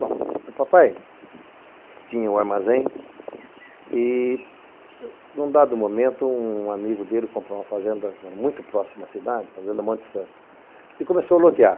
Bom, o papai tinha um armazém e, num dado momento, um amigo dele comprou uma fazenda muito próxima à cidade, fazenda Monte Santo, e começou a lotear.